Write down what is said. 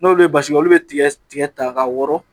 N'oli ye basi kɛ , olu bi tigɛ tigɛ ta ka wɔrɔn